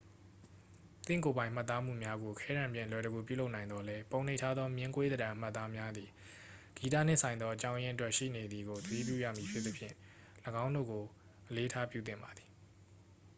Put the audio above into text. သင့်ကိုယ်ပိုင်မှတ်သားမှုများကို ခဲတံဖြင့် အလွယ်တကူပြုလုပ်နိုင်သော်လည်း ပုံနှိပ်ထားသော မျဉ်းကွေးသဏ္ဍန်အမှတ်အသားများသည် ဂီတနှင့်ဆိုင်သော အကြောင်းရင်းအတွက်ရှိနေသည်ကို သတိပြုရမည်ဖြစ်သဖြင့် ၎င်းတို့ကို အလေးအထားပြုသင့်ပါသည်